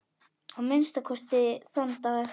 Að minnsta kosti þann dag.